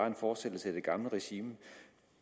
en fortsættelse af det gamle regime